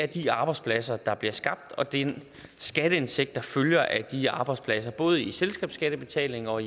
de arbejdspladser der bliver skabt og den skatteindtægt der følger af de arbejdspladser både i selskabsskattebetaling og